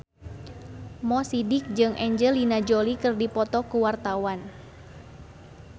Mo Sidik jeung Angelina Jolie keur dipoto ku wartawan